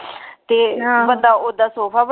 ਤੇ ਬੰਦਾ ਓਦਾ ਸੋਫਾ ਬਣਾ,